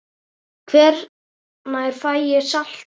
Hvenær fæ ég saltið?